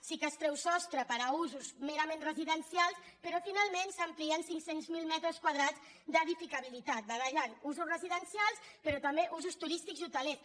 sí que es treu sostre per a usos merament residencials però finalment s’amplien cinc cents miler metres quadrats d’edificabilitat barrejant usos residencials però també usos turístics i hotelers